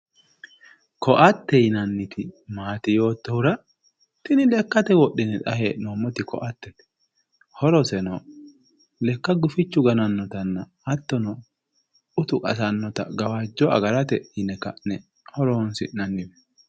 Koatte yinanniti maati yoottohura, tini lekkate wodhine xa hee'noommoti koattete. Horoseno lekka gufichu ganannotanna hattono utu qasannota gawajjo agarate yine ka'ne horoonsi'nanni.